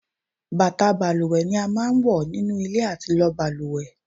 Bàtà balùwẹ̀ ni a máa ń wọ nínú ilé àti lọ balùwẹ̀